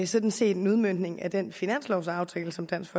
sådan set en udmøntning af den finanslovaftale som dansk